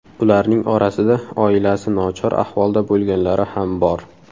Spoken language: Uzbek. Ularning orasida oilasi nochor ahvolda bo‘lganlari ham bor.